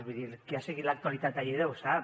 vull dir el que ha seguit l’actualitat a lleida ho sap